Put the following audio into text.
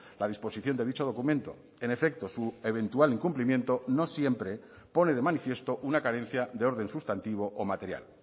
la disposición de dicho documento en efecto su eventual incumplimiento no siempre pone de manifiesto una carencia de orden sustantivo o material